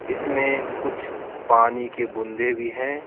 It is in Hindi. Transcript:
इसमें कुछ पानी के बूंदे भी हैं।